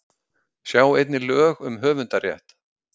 Sjá einnig lög um höfundarrétt.